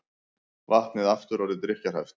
Vatnið aftur orðið drykkjarhæft